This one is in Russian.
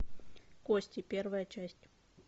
кости первая часть